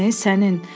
Sənin, sənin.